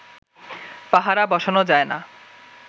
পাহারা বসানো যায় না